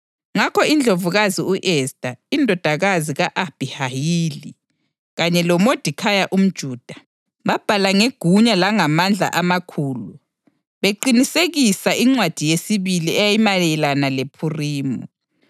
Ngakho, iNdlovukazi u-Esta, indodakazi ka-Abhihayili, kanye loModekhayi umJuda, babhala ngegunya langamandla amakhulu beqinisekisa incwadi yesibili eyayimayelana lePhurimi.